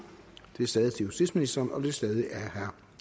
venstre